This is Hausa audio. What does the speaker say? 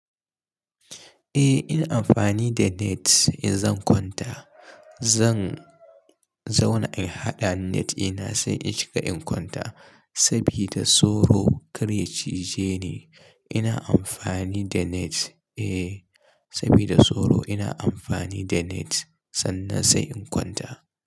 Eh ina amfani da net, in zan kwanta zan, zauna in haɗa net dina sai in shiga in kwanta sabida soro kar ya cije ni. Ina amfani da net eh, sabida soro ina amfani da net sannan sai in kwanta.